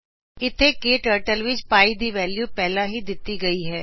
ਇਥੇ ਕਟਰਟਲ ਵਿਚ ਪੀ ਦੀ ਵੈਲਯੂ ਪਹਿਲਾਂ ਤੋ ਹੀ ਦਿੱਤੀ ਗਈ ਹੈ